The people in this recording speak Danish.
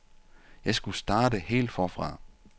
Jeg skulle starte helt forfra.